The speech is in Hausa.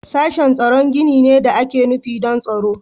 Sashen tsaro gini ne da ake nufi don tsaro.